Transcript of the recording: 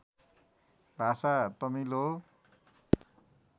भाषा तमिल हो